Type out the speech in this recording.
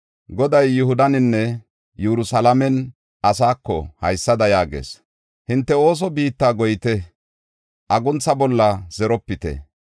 Goday Yihudanne Yerusalaame asaako haysada yaagees: “Hinte othe biitta goyite; aguntha bolla zeropite.